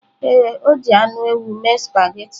Ee, o ji anụ ewu mee spaghetị.